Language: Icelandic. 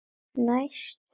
Næstur er Vetur.